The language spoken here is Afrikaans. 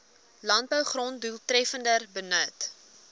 landbougrond doeltreffender benut